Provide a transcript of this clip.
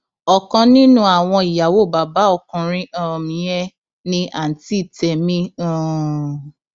ọkan nínú àwọn ìyàwó bàbá ọkùnrin um yẹn ni àǹtí tẹmí um